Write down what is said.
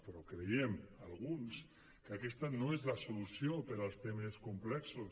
però creiem alguns que aquesta no és la solució per als temes complexos